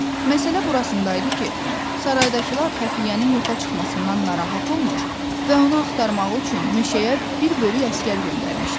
Məsələ burasında idi ki, saraydakılar xəfiyyənin yoxa çıxmasından narahat olmur və onu axtarmaq üçün meşəyə bir bölük əsgər göndərmişdilər.